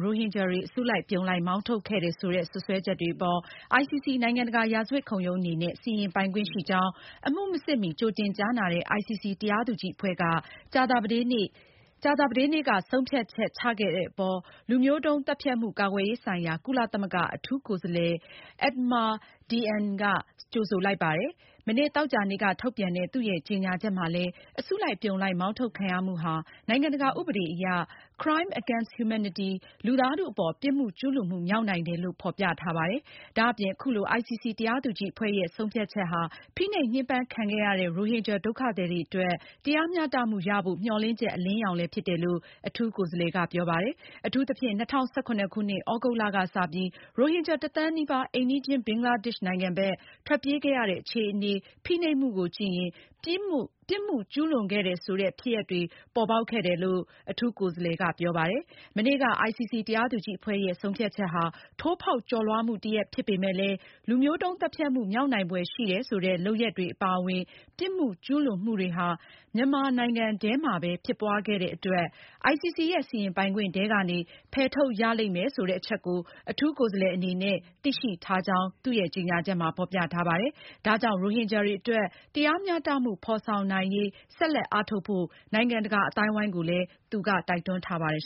ရိုဟင်ဂျာတွေကို အစုလိုက်အပြုံလိုက် မောင်းထုတ်ခဲ့တယ်ဆိုတဲ့ စွပ်စွဲချက်အပေါ် ICC နိုင်ငံတကာရာဇဝတ်ခုံရုံးအနေနဲ့ စီရင်ပိုင်ခွင့်ရှိကြောင်း အမှုမစစ်မီ ကြိုတင် ကြားနာတဲ့ ICC တရားသူကြီးအဖွဲ့က ကြာသာပတေးနေ့ စက်တင်ဘာလ (၇) ရက်နေ့က ဆုံးဖြတ်ချက် ချခဲ့တဲ့အပေါ် လူမျိုးတုန်းသတ်ဖြတ်မှုကာကွယ်ရေးဆိုင်ရာ ကုလသမဂ္ဂ အထူးကိုယ်စား လှယ် Adama Dieng ကကြိုဆိုလိုက်ပါတယ်။ မနေ့သောကြာနေ့က ထုတ်ပြန်တဲ့ သူ့ရဲ့ကြေညာချက် မှာလည်း အစုလိုက်အပြုံလိုက် မောင်းထုတ်ခံရမှုဟာ နိုင်ငံတကာဥပဒေအရ crime against humanity လူသားထုအပေါ် ပြစ်မှုကျူးလွန်မှုမြောက်နိုင်တယ်လို့ ဖေါ်ပြထားပါတယ်။ ဒါအပြင် အခုလို ICC တရားသူကြီးအဖွဲ့ရဲ့ ဆုံးဖြတ်ချက်ဟာ ဖိနှိပ်ညှင်းပမ်းခံခဲ့ရတဲ့ ရိုဟင်ဂျာ ဒုက္ခသည်တွေအတွက် တရားမျှတမှုရဖို့ မျှော်လင့်ချက် အလင်းရောင်လည်း ဖြစ်တယ်လို့ အထူးကိုယ်စားလှယ်က ပြောပါတယ်။ အထူးသဖြင့် ၂၀၁၇ခုနှစ် သြဂုတ်လကစပြီး ရိုဟင်ဂျာ ၁ သန်းနီးပါး အိမ်နီးချင်း ဘင်္ဂလားဒေ့ရှ်နိုင်ငံ ဘက် ထွက်ပြေးခဲ့ရတဲ့ အခြေအနေ ဖိနှိပ်မှုကိုကြည့်ရင် ပြစ်မှုကျူးလွန်ခဲ့တယ်ဆိုတဲ့ ဖြစ်ရပ်တွေ ပေါ်ပေါက်ခဲ့တယ်လို့ Adama Dieng ကပြောပါတယ်။ မနေ့က ICC တရားသူကြီးအဖွဲ့ရဲ့ ဆုံးဖြတ်ချက်ဟာ ထိုးဖောက်ကျော်လွှားမှုတရပ်ဖြစ်ပေမဲ့လည်း လူမျိုးတုန်းသတ်ဖြတ်မှု မြောက်နိုင်ဖွယ်ရှိတယ်ဆိုတဲ့ လုပ်ရပ်တွေအပါအဝင် ပြစ်မှုကျူးလွန်မှုတွေ ဟာ မြန်မာနိုင်ငံထဲမှာပဲ ဖြစ်ပွားခဲ့တဲ့ အတွက် ICC ရဲ့ စီရင်ပိုင်ခွင့်ထဲကနေ ဖယ်ထုတ်ရလိမ့်မယ် ဆိုတဲ့ အချက်ကို အထူးကိုယ်စားလှယ်က သူသိရှိထားကြောင်းကြေညာချက်မှာ ဖေါ်ပြထားပါတယ်။ ဒါကြောင့် ရိုဟင်ဂျာတွေအတွက် တရားမျှတမှု ဖေါ်ဆောင်နိုင်ရေး ဆက်လက်အားထုတ်ဖို့ နိုင်ငံတကာ အသိုင်းအဝိုင်းကို သူက တိုက်တွန်းထားပါတယ်